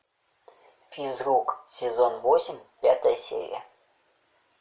физрук сезон восемь пятая серия